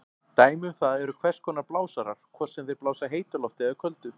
Dæmi um það eru hvers konar blásarar, hvort sem þeir blása heitu lofti eða köldu.